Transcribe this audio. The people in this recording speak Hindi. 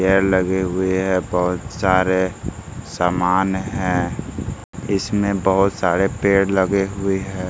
पेड़ लगे हुए है बहुत सारे सामान है इसमें बहुत सारे पेड़ लगे हुए हैं।